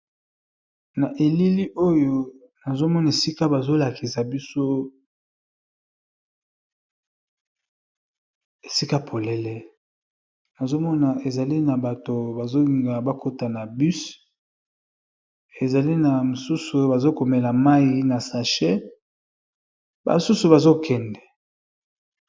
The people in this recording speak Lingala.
Na elili oyo nazo mona esika bazo lakisa biso esika polele, nazo mona ezali na bato bazo linga bakota na bus ezali na mosusu oyo bazo komela mayi na sachet ba susu bazo kende.